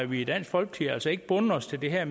vi i dansk folkeparti altså ikke bundet os til det her